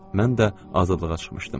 Mən də azadlığa çıxmışdım.